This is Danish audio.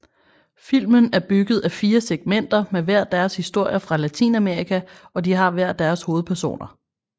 Filmen er bygget af 4 segmenter med hver deres historer fra latinamerika og de har hver deres hovedpersoner